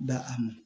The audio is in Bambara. Da a ma